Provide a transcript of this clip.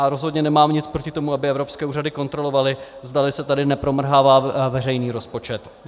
A rozhodně nemám nic proti tomu, aby evropské úřady kontrolovaly, zdali se tady nepromrhává veřejný rozpočet.